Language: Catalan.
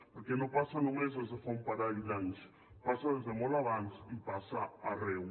perquè no passa no·més des de fa un parell d’anys passa des de molt abans i passa arreu